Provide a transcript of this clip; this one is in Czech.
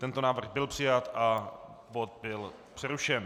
Tento návrh byl přijat a bod byl přerušen.